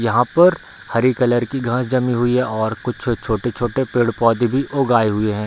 यहाँ पर हरी कलर की घास जमी हुई है और कुछ छोटे-छोटे पेड़-पौधे भी ऊगाए हुए है।